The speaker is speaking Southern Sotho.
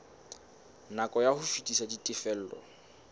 nako ya ho fetisa ditifelo